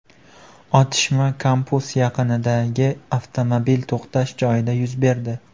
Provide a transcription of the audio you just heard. Otishma kampus yaqinidagi avtomobil to‘xtash joyida yuz berdi.